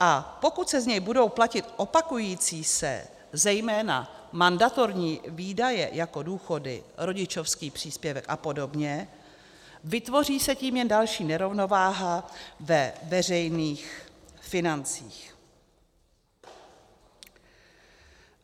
A pokud se z něj budou platit opakující se, zejména mandatorní výdaje jako důchody, rodičovský příspěvek a podobně, vytvoří se tím jen další nerovnováha ve veřejných financích.